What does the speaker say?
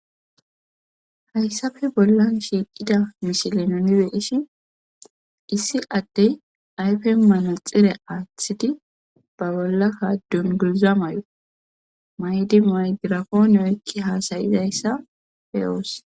Hayssappe bollan shiiqqida misile nuun beyishin issi ddey yfen manaxire aaththidii ba bollakka dunguza mayo mayidii maygirponne oykidii hassayizssa be'os.